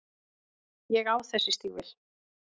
Ég á þessi stígvél.